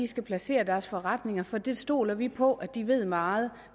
skal placere deres forretninger for det stoler vi på de ved meget